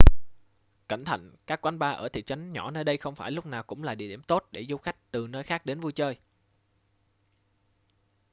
cẩn thận các quán bar ở thị trấn nhỏ nơi đây không phải lúc nào cũng là địa điểm tốt để du khách từ nơi khác đến vui chơi